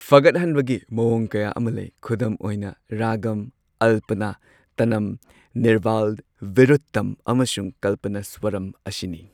ꯐꯒꯠꯍꯟꯕꯒꯤ ꯃꯑꯣꯡ ꯀꯌꯥ ꯑꯃ ꯂꯩ꯫ ꯈꯨꯗꯝ ꯑꯣꯏꯅ ꯔꯥꯒꯝ, ꯑꯜꯄꯅꯥ, ꯇꯅꯝ, ꯅꯤꯔꯚꯥꯜ, ꯕꯤꯔꯨꯠꯇꯝ, ꯑꯃꯁꯨꯡ ꯀꯜꯄꯅꯥꯁ꯭ꯋꯥꯔꯝ ꯑꯁꯤꯅꯤ꯫